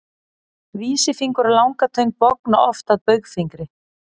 vísifingur og langatöng bogna oft að baugfingri